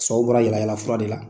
Sababu bɔra yaala yaala fur de la!